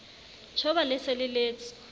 tjhoba le se le letse